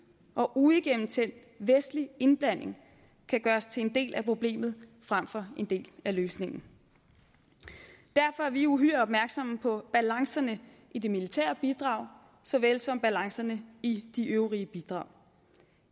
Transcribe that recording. og uigennemtænkt vestlig indblanding kan gøres til en del af problemet frem for en del af løsningen derfor er vi uhyre opmærksomme på balancerne i det militære bidrag såvel som balancerne i de øvrige bidrag